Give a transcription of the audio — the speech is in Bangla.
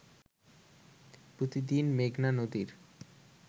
প্রতিদিন মেঘনা নদীর